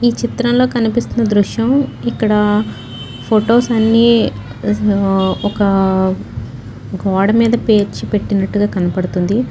ఈచిత్రంలో కనిపిస్తున్న దృశ్యం ఇక్కడ ఫోటో స్ అన్ని ఒక్కా గోడమీద పేర్చిపెట్టినట్టుగా కనపడుతుంది .